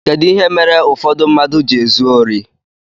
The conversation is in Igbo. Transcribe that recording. Kedu ihe mere ụfọdụ mmadụ ji ezu órí?